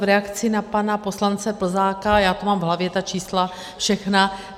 V reakci na pana poslance Plzáka, já to mám v hlavě, ta čísla všechna.